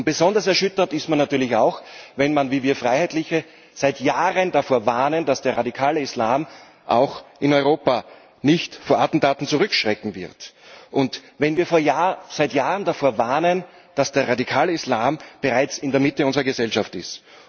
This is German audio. Besonders erschüttert ist man natürlich auch, wenn man wie wir Freiheitliche seit Jahren davor warnt, dass der radikale Islam auch in Europa nicht vor Attentaten zurückschrecken wird, und wenn wir seit Jahren davor warnen, dass der radikale Islam bereits in der Mitte unserer Gesellschaft ist.